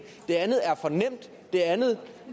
det andet er for nemt det andet